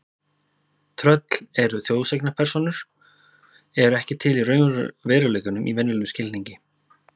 Tröll eru þjóðsagnapersónur eru ekki til í veruleikanum í venjulegum skilningi.